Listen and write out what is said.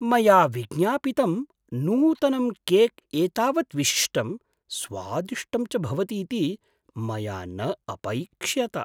मया विज्ञापितं नूतनं केक् एतावत् विशिष्टं, स्वादिष्टं च भवतीति मया न अपैक्ष्यत!